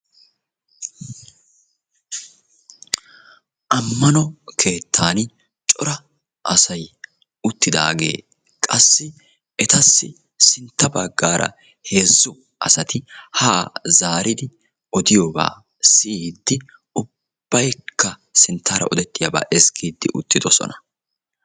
Ammano keettan cora asaay uttidaage qassi etassi sintta baggaara heezzu asati ha zaaridi odiyoogaa siyyiidi ubbaykka sinttara odetiyaaba ezggiid uttidossona.